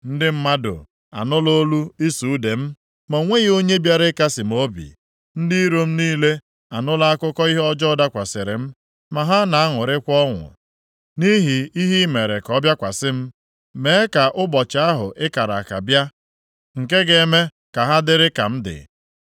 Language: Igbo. “Ndị mmadụ anụla olu ịsụ ude m, ma o nweghị onye bịara ịkasị m obi. Ndị iro m niile anụla akụkọ ihe ọjọọ dakwasịrị m, ma ha na-aṅụrịkwa ọṅụ nʼihi ihe i mere ka ọ bịakwasị m. Mee ka ụbọchị ahụ i kara aka bịa, nke ga-eme ka ha dịrị ka m dị.